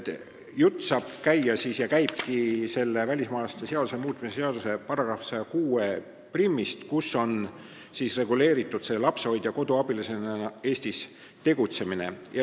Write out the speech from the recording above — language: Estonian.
Jutt käib välismaalaste seaduse muutmise seaduse § 1061-st, mis reguleerib lapsehoidja-koduabilisena Eestis tegutsemist.